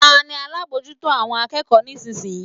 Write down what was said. Ta ni alábòójútó àwọn akẹ́kọ̀ọ́ nísinsìnyí?